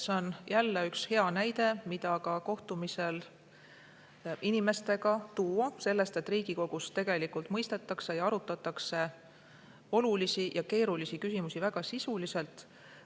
See on jälle üks hea näide, mida ka kohtumistel inimestega tuua selle kohta, et Riigikogus tegelikult mõistetakse ja arutatakse olulisi ja keerulisi küsimusi väga sisuliselt.